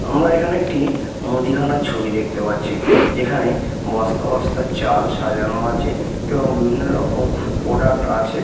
আমরা এখানে একটি মুদিখানার ছবি দেখতে পাচ্ছি যেখানে বস্তা বস্তা চাল সাজানো আছে এবং বিভিন্ন রকম প্রোডাক্ট আছে।